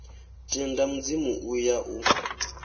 tendi mudzimu u ya u